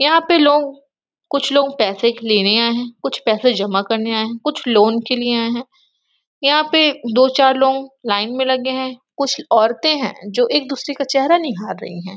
यहाँ पे लोग कुछ लोग पैसे के लिए भी आए है कुछ पैसे जमा करने आए है कुछ लोन के लिए आए है यहाँ पे दो चार लोग लाइन में लगे है कुछ औरते है जो एक दूसरे का चेहरा निहार रही है।